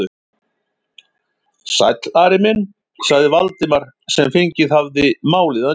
Sæll, Ari minn sagði Valdimar sem fengið hafði málið að nýju.